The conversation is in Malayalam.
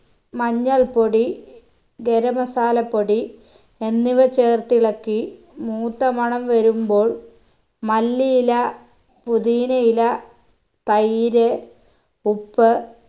മഞ്ഞൾ പൊടി ഗരം masala പൊടി എന്നിവ ചേർത്തിളക്കി മൂത്ത മണം വരുമ്പോൾ മല്ലിയില പുതിനയില തൈര് ഉപ്പ്